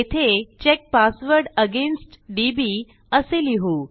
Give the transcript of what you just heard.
येथे check password against DB असे लिहू